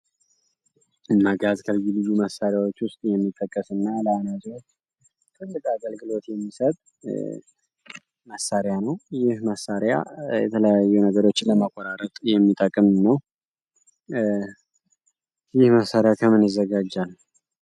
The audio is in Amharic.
መጋዝ ከልዩ ልዩ መሳሪያዎች የሚመደብ እና ለአናጢዎች ትልቅ አገልግሎት የሚሰጥ መሳሪያ ነው። ይህ መሳሪያ የተለያዩ ነገሮችን ለመቆራረጥ የሚጠቅም ነው። ይህ መሳሪያ ከምን ይዘጋጃል?